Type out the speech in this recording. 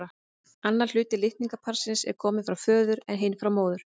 Annar hluti litningaparsins er kominn frá föður en hinn frá móður.